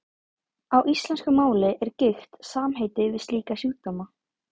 Á íslensku máli er gigt samheiti yfir slíka sjúkdóma.